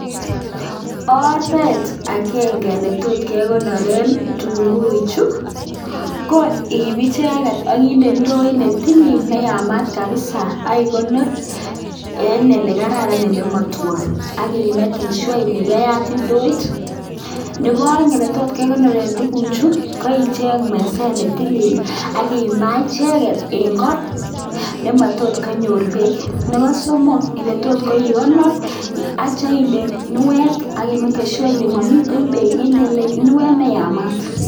Oret agenge ne tot kekonoren kitunguichu ko iip icheket ak kinde indoit netilil neyamat kapsa ak kikonore eng ole kararan ole matuon, aki mekan sure ile keyat indoit. Nebo aeng, netot kikonoren kitunguicu ko icheng meset ne tilil aki imaa icheket eng ko nematot konyor beek. Nebo somok, ole tot ikonor aityo inde kunuet aki mekan sure ile mamiten beek akinde kunuet neyamat.